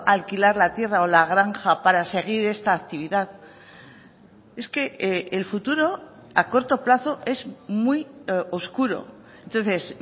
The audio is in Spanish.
alquilar la tierra o la granja para seguir esta actividad es que el futuro a corto plazo es muy oscuro entonces